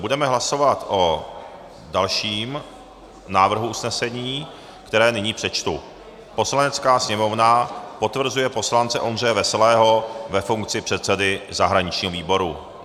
Budeme hlasovat o dalším návrhu usnesení, které nyní přečtu: "Poslanecká sněmovna potvrzuje poslance Ondřeje Veselého ve funkci předsedy zahraničního výboru."